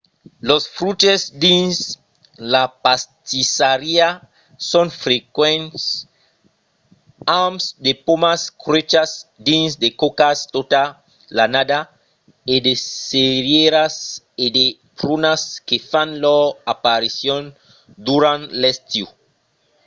los fruches dins la pastissariá son frequents amb de pomas cuèchas dins de còcas tota l'annada e de cerièras e de prunas que fan lor aparicion durant l’estiu